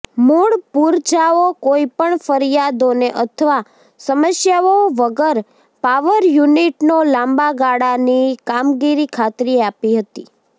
મૂળ પૂરજાઓ કોઈપણ ફરિયાદોને અથવા સમસ્યાઓ વગર પાવર યુનિટનો લાંબા ગાળાની કામગીરી ખાતરી આપી હતી